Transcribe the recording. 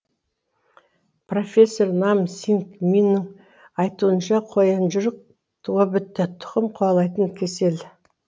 профессор нам синг миннің айтуынша қоянжырық туа бітті тұқым қуалайтын кесел